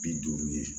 Bi duuru ye